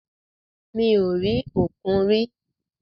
Mi ò rí òkun rí.